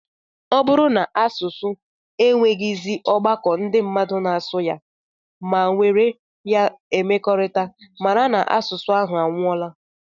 Ọ bụrụ na asụsụ enweghịzi ọgbakọ ndị mmadụ na-asụ ya ma were ya emekọrịta, mara na asụsụ ahụ anwụọla